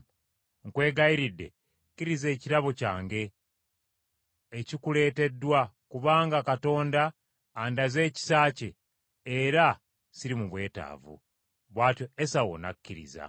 Nkwegayiridde kkiriza ekirabo kyange ekikuleeteddwa, kubanga Katonda andaze ekisa kye, era siri mu bwetaavu.” Bw’atyo Esawu n’akikkiriza.